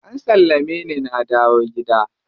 An sallame ni na dawo gida.